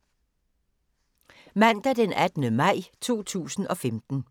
Mandag d. 18. maj 2015